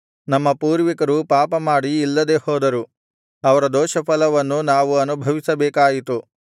ನಮ್ಮ ಪೂರ್ವಿಕರು ಪಾಪಮಾಡಿ ಇಲ್ಲದೆ ಹೋದರು ಅವರ ದೋಷಫಲವನ್ನು ನಾವು ಅನುಭವಿಸಬೇಕಾಯಿತು